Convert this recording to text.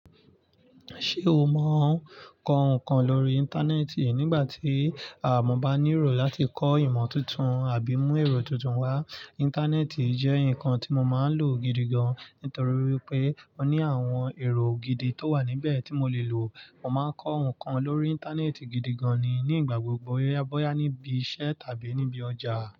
Ṣé o mọ ń kọ ǹkan lórí Íńtánẹ́ẹ̀tì? Nígbà tí àwọn ọmọ bá ní ró láti kọ ìmọ̀ tuntun àbí mú ẹ̀rọ tuntun wá, Íńtánẹ́ẹ̀tì jẹ́ ǹkan tí mo máa ń lò gidi gan-an. Nítorí wipé ó ní àwọn ẹ̀rọ gidi tó wà níbẹ̀ tí mo lè lò. Mo máa ń kọ ǹkan lórí Íńtánẹ́ẹ̀tì gidi gan-an ni nígbà gbogbo. Boya níbi iṣẹ́ tàbí níbi ọjà.